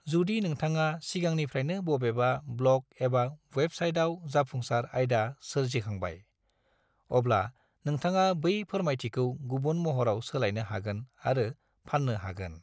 जुदि नोंथाङा सिगांनिफ्रायनो बबेबा ब्लग एबा वेबसाइटआव जाफुंसार आयदा सोरजिखांबाय, अब्ला नोंथाङा बै फोरमायथिखौ गुबुन महराव सोलायनो हागोन आरो फाननो हागोन।